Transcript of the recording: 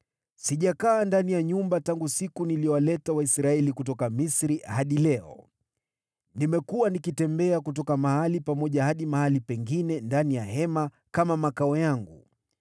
Sijakaa ndani ya nyumba tangu siku niliyowaleta Waisraeli kutoka Misri hadi leo. Nimekuwa nikitembea kutoka mahali pamoja hadi mahali pengine ndani ya hema kama makao yangu.